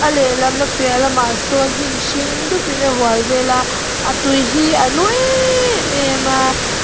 a lehlam a piah lamah sawn hnim hring dupin a hual vel a a tui hi a nu emmm em a.